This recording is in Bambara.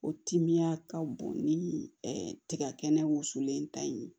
O timiya ka bon ni tiga kɛnɛ wusulen in ta in ye